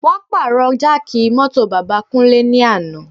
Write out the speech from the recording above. Wọ́n pàrọ̀ jáàkì mọ́tò bàbá Kúnlé ní àná